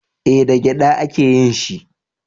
Eh da gyada a ke yin shi